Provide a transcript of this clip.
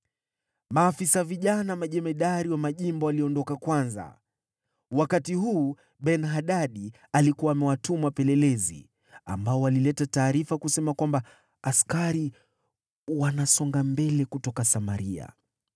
Maafisa vijana majemadari wa majimbo waliondoka kwanza. Wakati huu Ben-Hadadi alikuwa amewatuma wapelelezi, ambao walileta taarifa kusema kwamba, “Askari wanasonga mbele kutoka Samaria.”